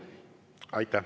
Nii ei saa!